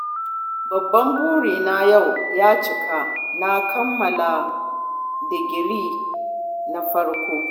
Babban burina yau ya cika, na kammala digirina na farko